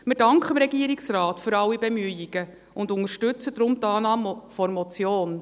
Wir danken dem Regierungsrat für alle Bemühungen und unterstützen daher die Annahme der Motion.